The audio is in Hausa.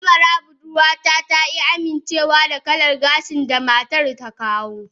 Amara budurwata ta ki amincewa da kalar gashin da matar ta kawo